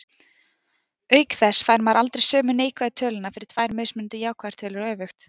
Auk þess fær maður aldrei sömu neikvæðu töluna fyrir tvær mismunandi jákvæðar tölur og öfugt.